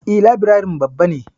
E, labirarin babba ne.